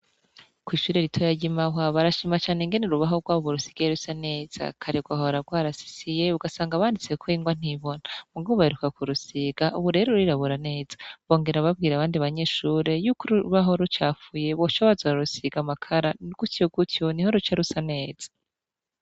Kw'ishure ritoya ry'i Mahwa barashima cane ingene urubaho rwabo rusigaye rusa neza kare rwahora rwarasisiye ugasanga wanditseko ingwa ntibona, muga ubu baheruka kurusiga ubu rero rurirabura neza, bongera babwira abandi banyeshure yuko urubaho rucafuye boca baza bararusiga amakara gutyo gutyo niho ruca rusa neza.